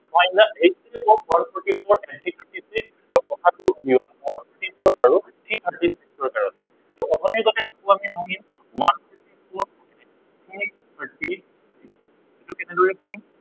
minus eighty, one forty four, nineteen fifty six গ সা গু উলিয়াম one forty four আৰু three hundred ৰ কাৰনে। অথনিৰ দৰে এইটোও আমি ভাঙিম, one forty four, thirty six এইটো কেনেদৰে ভাঙিম